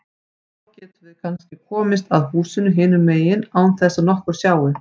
Þá getum við kannski komist að húsinu hinum megin án þess að nokkur sjái.